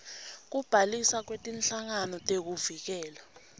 kubhaliswa kwetinhlangano tekuvikela